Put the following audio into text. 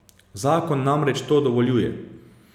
Zakon namreč to dovoljuje.